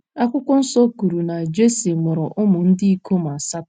Akwụkwọ Nsọ kwuru na Jesi mụrụ ụmụ ndị ikom asatọ.